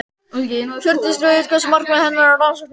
Hjördís Rut: Hvert er markmið þessarar rannsóknar?